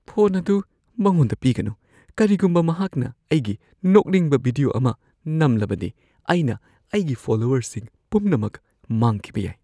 Phone ꯑꯗꯨ ꯃꯉꯣꯟꯗ ꯄꯤꯒꯅꯨ꯫ ꯀꯔꯤꯒꯨꯝꯕ ꯃꯍꯥꯛꯅ ꯑꯩꯒꯤ ꯅꯣꯛꯅꯤꯡꯕ ꯚꯤꯗꯤꯑꯣ ꯑꯃ ꯅꯝꯂꯕꯗꯤ, ꯑꯩꯅ ꯑꯩꯒꯤ ꯐꯣꯂꯣꯋꯔꯁꯤꯡ ꯄꯨꯝꯅꯃꯛ ꯃꯥꯡꯈꯤꯕ ꯌꯥꯏ꯫